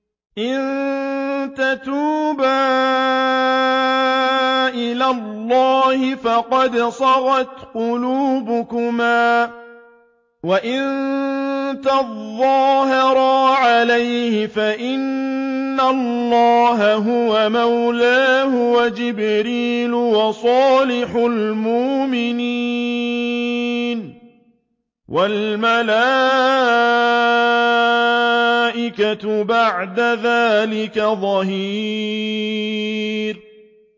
إِن تَتُوبَا إِلَى اللَّهِ فَقَدْ صَغَتْ قُلُوبُكُمَا ۖ وَإِن تَظَاهَرَا عَلَيْهِ فَإِنَّ اللَّهَ هُوَ مَوْلَاهُ وَجِبْرِيلُ وَصَالِحُ الْمُؤْمِنِينَ ۖ وَالْمَلَائِكَةُ بَعْدَ ذَٰلِكَ ظَهِيرٌ